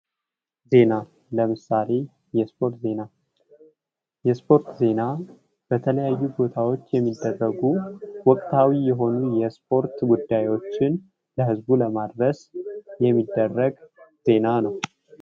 ዜና የመዝናኛና የስፖርት ዜናዎችን በማቅረብ የሰዎችን የትርፍ ጊዜያቸውን እንዲያሳልፉና እንዲዝናኑ እድል ይሰጣል